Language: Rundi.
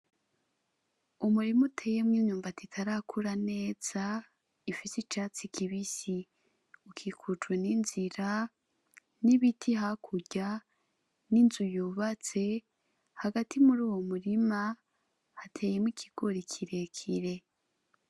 Umurima uteyemwo imyumbati itarakura neza ifise icatsi kibisi ukikujwe n'inzira n'ibiti hakurya n'inzu yubatse hagati muri uyo murima hateyemwo ikigori kirekire.